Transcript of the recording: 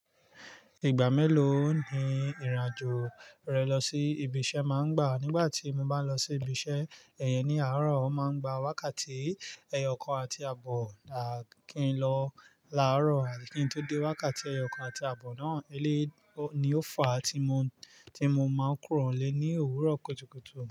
Ìgbà mélòó ni ìrìnàjò rẹ lọ sí ibi iṣẹ́ máa ń gbà? Nígbà tí mo bá lọ sí ibi iṣẹ́, ẹ̀yẹ ní àárọ̀ máa ń gba wákàtí ẹyọ kan àti àbọ̀ làákìn lọ láàárọ̀. Àkín tó dé wákàtí ẹyọ kan àti àbọ̀ náà, ilé ni ó fà á tí mo, tí mo máa ń kúrò lé ní òwúrọ̀ kùtùkùtù.